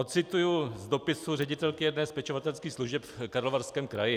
Odcituji z dopisu ředitelky jedné z pečovatelských služeb v Karlovarském kraji.